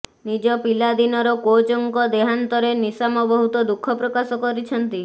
ନିଜ ପିଲାଦିନର କୋଚଙ୍କ ଦେହାନ୍ତରେ ନିଶାମ ବହୁତ ଦୁଃଖ ପ୍ରକାଶ କରିଛନ୍ତି